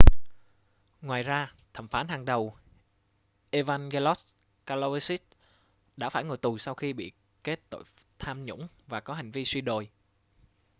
ngoài ra thẩm phán hàng đầu evangelos kalousis đã phải ngồi tù sau khi bị kết tội tham nhũng và có hành vi suy đồi